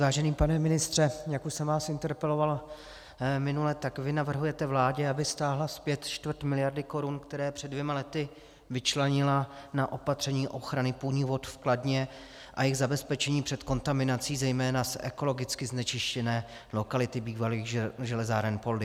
Vážený pane ministře, jak už jsem vás interpeloval minule, tak vy navrhujete vládě, aby stáhla zpět čtvrt miliardy korun, které před dvěma lety vyčlenila na opatření ochrany půdních vod v Kladně a jejich zabezpečení před kontaminací zejména z ekologicky znečištěné lokality bývalých železáren Poldi.